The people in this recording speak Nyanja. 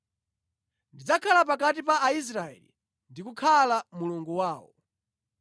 Ndidzakhala pakati pa Aisraeli ndikukhala Mulungu wawo.